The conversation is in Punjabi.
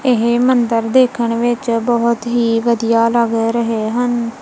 ਇਹ ਮੰਦਰ ਦੇਖਣ ਵਿੱਚ ਬਹੁਤ ਹੀ ਵਧੀਆ ਲੱਗ ਰਹੇ ਹਨ।